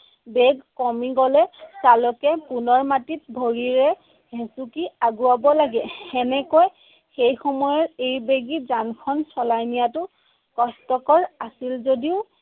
বেগ কমি গলে চালকে পুনৰ মাটিত ভৰিৰে হেচুকি আগুৱাব লাগে। এনেকৈ সেই সময়ৰ এই বেগী যানখন চলাই নিয়াটো কষ্টকৰ আছিল যদিও